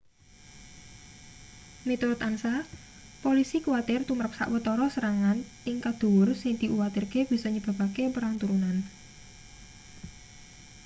miturut ansa polisi kuwatir tumrap sawetara serangan tingkat dhuwur sing diuwatirke bisa nyebabake perang turunan